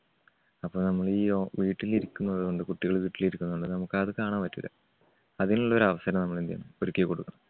അപ്പോ നമ്മള് ഈ വീട്ടിലിരിക്കുന്നതുകൊണ്ട് കുട്ടികള് വീട്ടിലിരിക്കുന്നതുകൊണ്ട് നമുക്ക് അത് കാണാൻ പറ്റൂല്ല. അതിനുള്ള ഒരവസരം നമ്മള് എന്ത് ചെയ്യണം ഒരുക്കികൊടുക്കണം.